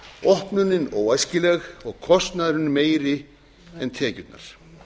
opnunin óæskileg og kostnaðurinn mun meiri en tekjurnar